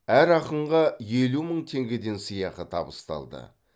әр ақынға елу мың теңгеден сыйақы табысталды